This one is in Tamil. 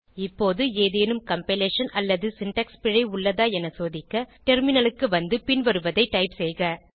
இப்போது ஏதேனும் கம்பைலேஷன் அல்லது சின்டாக்ஸ் பிழை உள்ளதான என சோதிக்க டெர்மினலுக்கு வந்து பின்வருவதை டைப் செய்க